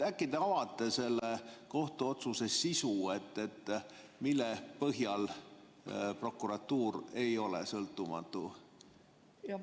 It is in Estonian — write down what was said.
Äkki te avate selle kohtuotsuse sisu, mille põhjal prokuratuur ei ole sõltumatu?